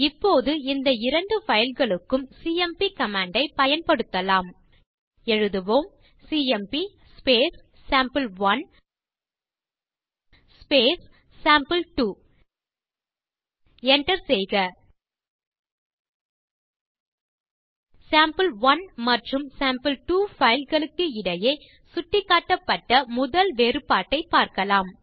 இப்போது இந்த இரண்டு பைல் களுக்கும் சிஎம்பி கமாண்ட் ஐ பயன்படுத்தலாம் எழுதுவோம் சிஎம்பி சேம்பிள்1 சேம்பிள்2 enter செய்க சேம்பிள்1 மற்றும் சேம்பிள்2 பைல் களுக்கு இடையே சுட்டிக்காட்டப்பட்ட முதல் வேறுபாட்டை பார்க்கலாம்